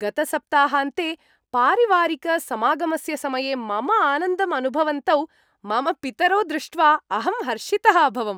गतसप्ताहान्ते पारिवारिकसमागमस्य समये मम आनन्दम् अनुभवन्तौ मम पितरौ दृष्ट्वा अहं हर्षितः अभवम्।